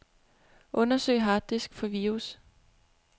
Undersøg harddisk for virus.